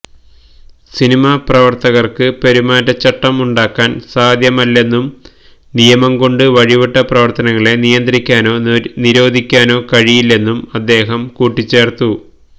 cinema പ്രവര്ത്തകര്ക്ക് പെരുമാറ്റച്ചട്ടം ഉണ്ടാക്കാന് സാധ്യമല്ലെന്നും നിയമം കൊണ്ട് വഴിവിട്ട പ്രവര്ത്തനങ്ങളെ നിയന്ത്രിക്കാനോ നിരോധിക്കാനോ കഴിയില്ലെന്നും അദ്ദേഹം കൂട്ടിച്ചേര്ത്തു